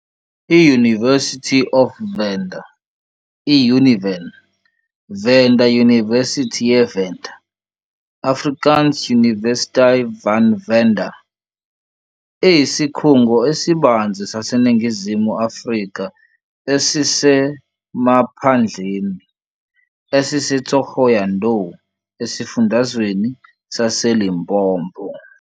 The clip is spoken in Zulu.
I-University of Venda, I-Univen, Venda Yunivesithi ye Venda, Afrikaans Universiteit van Venda, iyisikhungo esibanzi saseNingizimu Afrika esisemaphandleni, esiseThohoyandou esifundazweni saseLimpopo.